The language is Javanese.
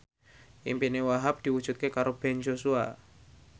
impine Wahhab diwujudke karo Ben Joshua